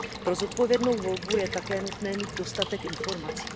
Pro zodpovědnou volbu je také nutné mít dostatek informací.